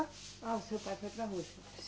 Ah, o seu pai foi para a Rússia.